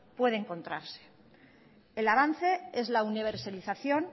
puede encontrarse el avance es la universalización